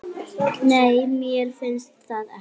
Nei, mér finnst það ekki.